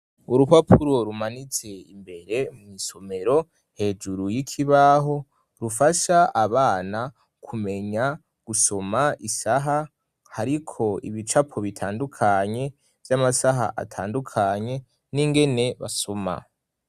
Urupapuro rumanitse imbere mw'isomero hejuru y'ikibaho, rufasha abana kumenya gusoma isaha, hariko ibicapo bitandukanye vy'amasaha atandukanye n'ingene basoma.